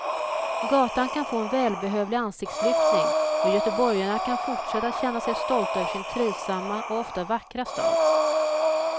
Gatan kan få en välbehövlig ansiktslyftning och göteborgarna kan fortsätta att känna sig stolta över sin trivsamma och ofta vackra stad.